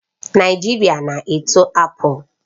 Naijiria na-eto apples